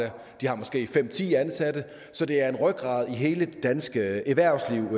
de har måske fem ti ansatte så det er en rygrad i hele det danske erhvervsliv